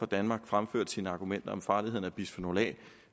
danmark fremførte sine argumenter om farligheden af bisfenol a